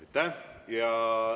Aitäh!